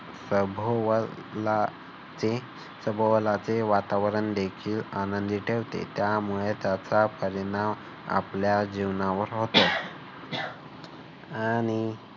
सभोवला ते सभोवलाते वातावरण देखील आनंदी ठेवते. त्यामुळे त्याचा परिणाम आपल्या जीवनावर होतो. आणि